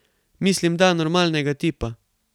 Mislim, da normalnega tipa.